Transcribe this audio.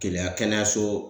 Keleya kɛnɛyaso.